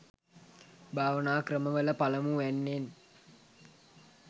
භාවනා ක්‍රමවල පළමු වැන්නෙන්